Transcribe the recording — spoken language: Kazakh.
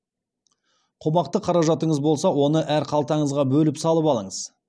қомақты қаражатыңыз болса оны әр қалтаңызға бөліп салып алыңыз